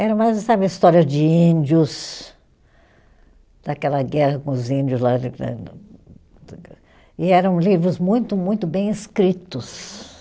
Eram mais, sabe, a história de índios, daquela guerra com os índios lá. E eram livros muito, muito bem escritos.